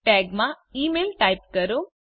tags માં email type કરો